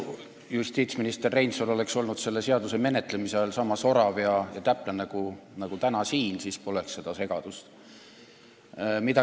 Kui justiitsminister Reinsalu oleks selle seaduseelnõu menetlemise ajal olnud sama sorav ja täpne nagu täna siin, siis seda segadust poleks.